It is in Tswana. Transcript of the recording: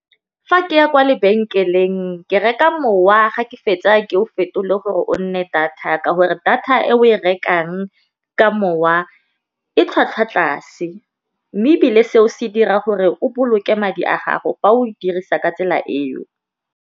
Fa ke ya kwa lebenkeleng ke reka mowa ga ke fetsa ke o fetole gore o nne data ka gore, data e o e rekang ka mowa e tlhwatlhwa tlase mme ebile seo se dira gore o boloke madi a gago fa o e dirisa ka tsela eo.